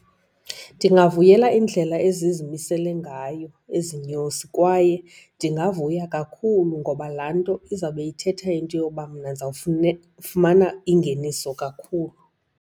Ndingavuyela iindlela ezimisele ngayo ezi nyosi kwaye ndingavuya kakhulu ngoba laa nto izawube ithetha into yoba mna ndizawufumana ingeniso kakhulu.